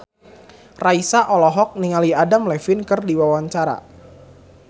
Raisa olohok ningali Adam Levine keur diwawancara